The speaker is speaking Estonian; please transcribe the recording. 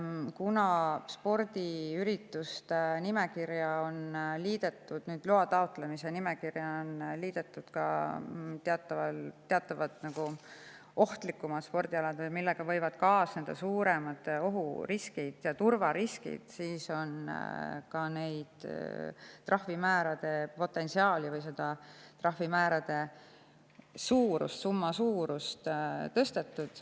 Kuna spordiürituste puhul on loa taotlemise nimekirja nüüd liidetud ka teatavad ohtlikumad spordialad, millega võivad kaasneda suuremad ohuriskid, turvariskid, siis on ka trahvimäärade suurust tõstetud.